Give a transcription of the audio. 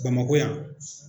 Bamakɔ yan